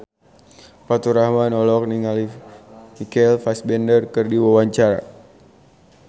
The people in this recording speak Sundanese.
Faturrahman olohok ningali Michael Fassbender keur diwawancara